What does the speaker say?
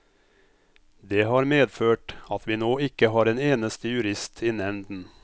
Det har medført at vi nå ikke har en eneste jurist i nevnden.